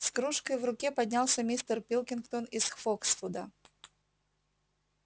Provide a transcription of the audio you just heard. с кружкой в руке поднялся мистер пилкингтон из фоксвуда